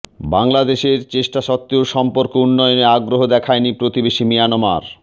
বাংলাদেশের চেষ্টা সত্ত্বেও সম্পর্ক উন্নয়নে আগ্রহ দেখায়নি প্রতিবেশি মিয়ানমার